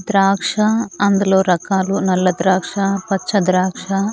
ద్రాక్ష అందులో రకాలు నల్ల ద్రాక్ష పచ్చ ద్రాక్ష.